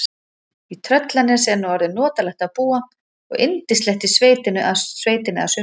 Í Tröllanesi er nú orðið notalegt að búa og yndislegt í sveitinni að sumrinu.